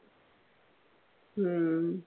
ഉം